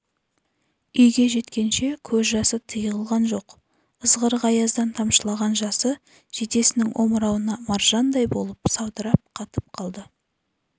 үйге жеткенше көз жасы тиылған жоқ ызғырық аяздан тамшылаған жасы жейдесінің омырауына маржандай болып саудырап қатып қалды